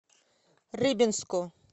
рыбинску